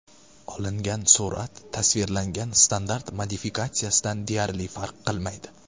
Olingan surat tasvirlangan standart modifikatsiyadan deyarli farq qilmaydi.